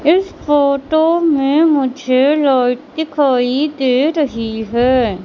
इस फोटो में मुझे लाइट दिखाई दे रही है।